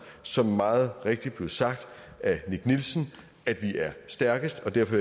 som det meget rigtigt blev sagt af nick nielsen at vi er stærkest og derfor